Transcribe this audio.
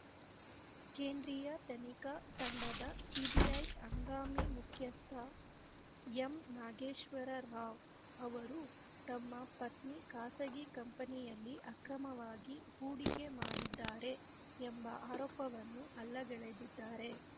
ಕೇಂದ್ರೀಯ ತನಿಖಾ ತಂಡಸಿಬಿಐದ ಹಂಗಾಮಿ ಮುಖ್ಯಸ್ಥ ಎಂ ನಾಗೇಶ್ವರ ರಾವ್‌ ಅವರು ತಮ್ಮ ಪತ್ನಿ ಖಾಸಗಿ ಕಂಪನಿಯಲ್ಲಿ ಅಕ್ರಮವಾಗಿ ಹೂಡಿಕೆ ಮಾಡಿದ್ದಾರೆ ಎಂಬ ಆರೋಪವನ್ನು ಅಲ್ಲಗೆಳೆದಿದ್ದಾರೆ